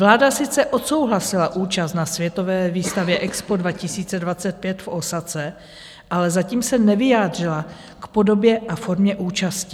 Vláda sice odsouhlasila účast na světové výstavě EXPO 2025 v Ósace, ale zatím se nevyjádřila k podobě a formě účasti.